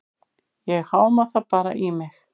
Ég háma það bara í mig.